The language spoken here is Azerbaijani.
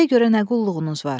Bizə görə nə qulluğunuz var?